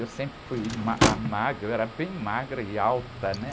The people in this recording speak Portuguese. Eu sempre fui ma, a magra, eu era bem magra e alta, né?